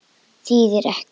Þýðir ekkert.